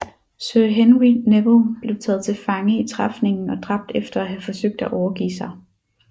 Sir Henry Neville blev taget til fange i træfningen og dræbt efter at have forsøgt at overgive sig